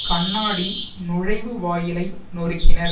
கண்ணாடி நுழைவு வாயிலை நொருக்கினர்